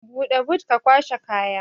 Buɗe but ka kwashe kaya